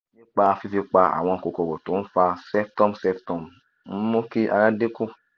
nípa fífi pa àwọn kòkòrò tó ń fa ceftum ceftum ń mú kí ara dín kù